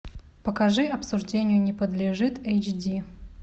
покажи обсуждению не подлежит эйч ди